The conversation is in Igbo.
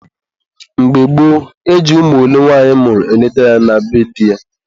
mgbe gboo, e ji ụmụ ole nwanyị mụrụ eleta ya na be di ya.